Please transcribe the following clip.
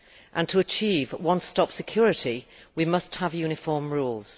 and to achieve one stop security we must have uniform rules.